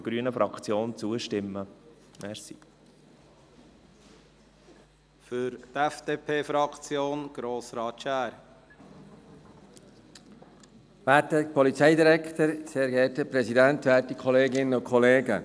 Wir hoffen, dass die Gemeinden dies mit Augenmass anwenden werden und stimmen der Gesetzesänderung seitens der grünen Fraktion zu.